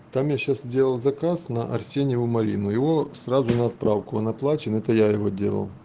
там я сейчас сделал заказ на арсеньеву марину его сразу на отправку он оплачен это я его делал